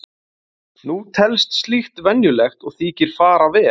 Nú telst slíkt venjulegt og þykir fara vel.